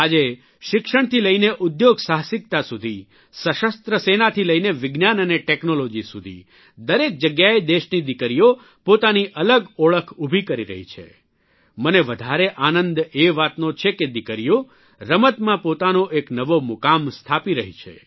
આજે શિક્ષણથી લઇને ઉદ્યોગસાહસિકતા સુધી સશસ્ત્ર સેનાથી લઇને વિજ્ઞાન અને ટેકનોલોજી સુધી દરેક જગ્યાએ દેશની દીકરીઓ પોતાની અલગ ઓળખ ઉભી કરી રહી છે મને વધારે આનંદ એ વાતનો છે કે દીકરીઓ રમતોમાં પોતાનો એક નવો મુકામ સ્થાપી રહી છે